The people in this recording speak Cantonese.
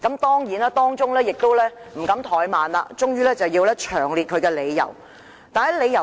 當然，律政司亦不敢怠慢，終於詳細列出理由。